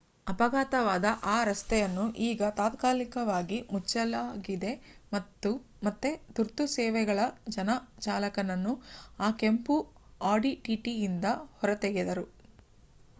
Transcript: ಅಪಘಾತವಾದ ಆ ರಸ್ತೆಯನ್ನು ಈಗ ತಾತ್ಕಾಲಿಕವಾಗಿ ಮುಚ್ಚಲಾಗಿದೆ ಮತ್ತೆ ತುರ್ತು ಸೇವೆಗಳ ಜನ ಚಾಲಕನನ್ನು ಆ ಕೆಂಪು audi tt ಯಿಂದ ಹೊರತೆಗೆದರು